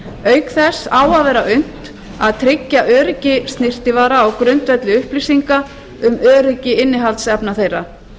auk þess á að vera unnt að tryggja öryggi snyrtivara á grundvelli upplýsinga um öryggi innihaldsefna þeirra